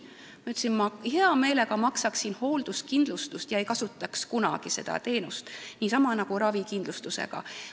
Ma ütlesin, et ma heameelega maksaksin hoolduskindlustuse eest, aga kunagi seda teenust ei kasutaks, niisamuti võiks olla ravikindlustusega.